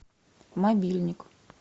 мобильник